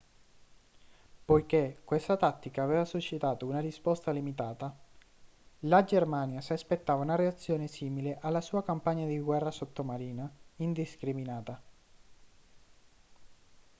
poiché questa tattica aveva suscitato una risposta limitata la germania si aspettava una reazione simile alla sua campagna di guerra sottomarina indiscriminata